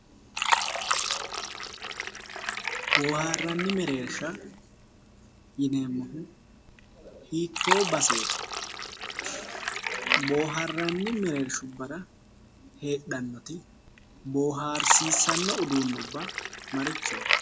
Waarranni mereershsha yineemmohu hiittoo baseeti? Boohaarranni mereershubbara heedhannoti boohaarsiissanno uduunnubba marichooti?